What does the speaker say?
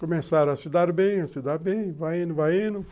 Começaram a se dar bem, a se dar bem, vai indo, vai indo.